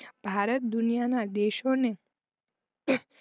ભારત દુનિયાના દેશોને